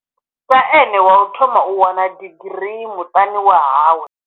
Sa ene wa u thoma u wana digiri muṱani wa hawe.